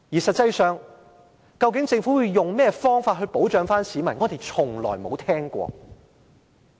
實際上，究竟政府要以甚麼方法保障市民呢？